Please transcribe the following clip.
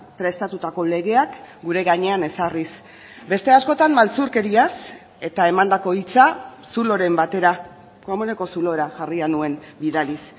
prestatutako legeak gure gainean ezarriz beste askotan maltzurkeriaz eta emandako hitza zuloren batera komuneko zulora jarria nuen bidaliz